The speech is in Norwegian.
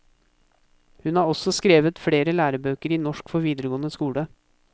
Hun har også skrevet flere lærebøker i norsk for videregående skole.